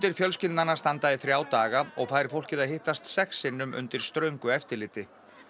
fjölskyldnanna standa í þrjá daga og fær fólkið að hittast sex sinnum undir ströngu eftirliti